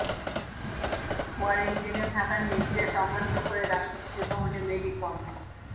কোয়ারেন্টিনে থাকার নির্দেশ অমান্য করে রাষ্ট্রপতি ভবনে মেরি কম